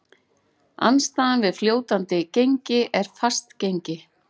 Andstaðan við fljótandi gengi er fast gengi.